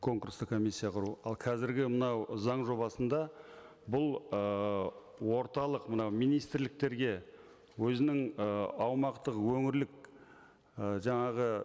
конкурстық комиссия құру ал қазіргі мынау заң жобасында бұл ыыы орталық мынау министрліктерге өзінің ы аумақтық өңірлік і жаңағы